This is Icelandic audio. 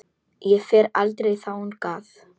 Ég fer aldrei þangað.